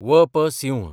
व.प. Singh